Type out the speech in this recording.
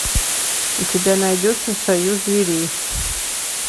у тебя найдется союз зверей